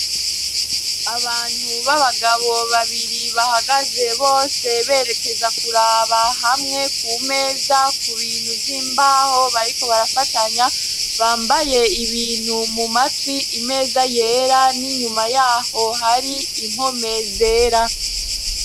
Abantu b'abagabo babiri bahagaze bose berekeza kuraba hamwe ku meza ku bintu vy'imbaho bariko barafatanya, bambaye ibintu mu matwi imeza yera n'inyuma yaho hari impome zera.